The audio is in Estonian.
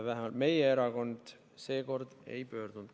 Vähemalt meie erakond seekord kohtusse ei pöördunud.